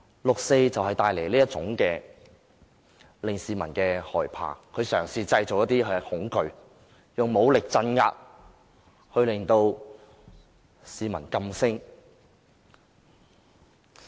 六四帶來這種令市民害怕的感覺，政府嘗試製造恐懼，以武力鎮壓，令市民噤聲。